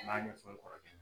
An ye